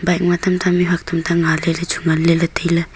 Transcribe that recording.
bike ma tam ta mih huat tam ta nga ley ley chu ngan ley ley tai ley.